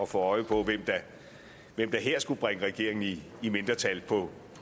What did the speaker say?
få øje på hvem der her skulle bringe regeringen i mindretal på